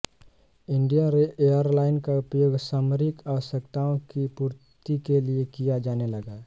Indian airline का उपयोग सामरिक आवश्यकताओं की पूर्ति के लिए किया जाने लगा